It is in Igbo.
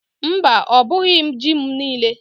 Mba, ọ bughi ji m niile.